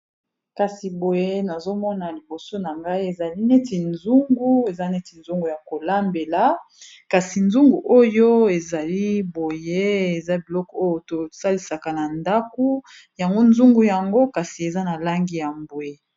kasi boye nazomona liboso na ngai ezali neti nzungu eza neti nzungu ya kolambela kasi nzungu oyo ezali boye eza biloko oyo tosalisaka na ndaku yango nzungu yango kasi eza na langi ya mbwe